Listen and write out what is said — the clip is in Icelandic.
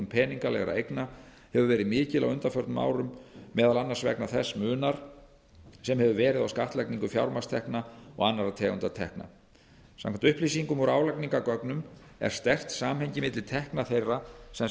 peningalegra eigna hefur verið mikil á undanförnum árum meðal annars vegna þess munar sem hefur verið á skattlagningu fjármagnstekna og annarra tegunda tekna samkvæmt upplýsingum úr álagningargögnum er sterkt samhengi milli tekna þeirra sem